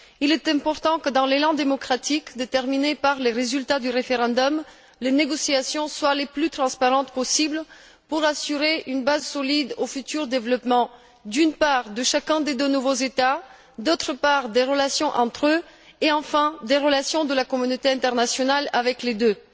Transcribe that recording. Il est important que, dans l'élan démocratique déterminé par les résultats du référendum, les négociations soient les plus transparentes possibles pour assurer une base solide au futur développement, d'une part de chacun des deux nouveaux États, d'autre part des relations entre eux et, enfin, des relations de la communauté internationale avec les deux.